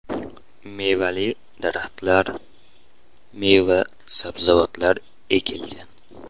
Mevali daraxtlar, meva-sabzavotlar ekilgan.